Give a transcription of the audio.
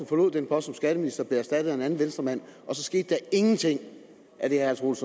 forlod den post som skatteminister og blev erstattet af en anden venstremand og så skete der intet af det herre troels